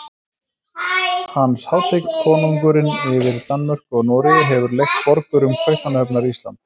Hans hátign konungurinn yfir Danmörku og Noregi hefur leigt borgurum Kaupmannahafnar Ísland.